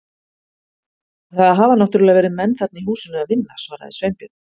Það hafa náttúrlega verið menn þarna í húsinu að vinna- svaraði Sveinbjörn.